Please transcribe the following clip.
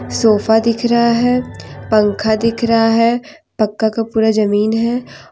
Sofa दिख रहा है पंखा दिख रहा है पक्का का पूरा जमीन है।